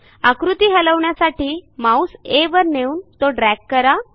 आकृती हलवण्यासाठी माऊस आ वर नेऊन तो ड्रॅग करा